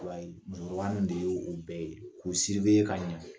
Musokɔrɔba minnu de ye o bɛɛ ye k'u ka ɲɛ